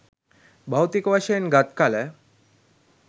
භෞතික වශයෙන් ගත් කල,